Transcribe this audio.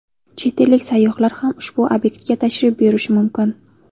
Chet ellik sayyohlar ham ushbu obyektga tashrif buyurishi mumkin.